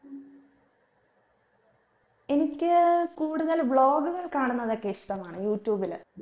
എനിക്ക് കൂടുതൽ vlog കൾ കാണുന്നതൊക്കെ ഇഷ്ടമാണ് യൂട്യൂബിൽ